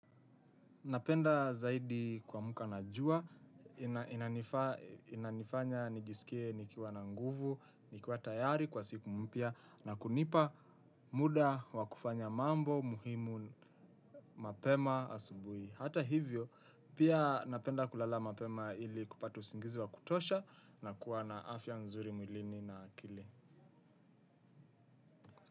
Napenda zaidi kua mka na jua, inanifanya nijiskie nikiwa na nguvu, nikiwa tayari kwa siku mpia na kunipa muda wa kufanya mambo muhimu mapema asubui. Hata hivyo, pia napenda kulala mapema ili kupata usingizi wa kutosha na kuwa na afya nzuri mwilini na akili.